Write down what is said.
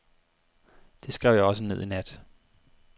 Det skrev jeg også ned i nat.